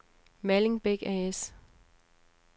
Malling Beck A/S